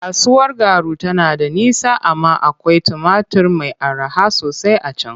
Kasuwar Garu tana da nisa amma akwai tumatur mai araha sosai a can.